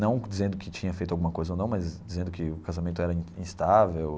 Não dizendo que tinha feito alguma coisa ou não, mas dizendo que o casamento era instável.